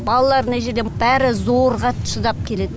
балалар мына жерде бәрі зорға шыдап келеді